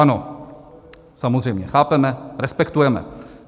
Ano, samozřejmě chápeme, respektujeme.